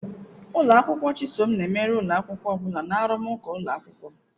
Ụlọ akwụkwọ Chisom na-emeri ụlọ akwụkwọ ọ bụla na arụmụka ụlọ akwụkwọ.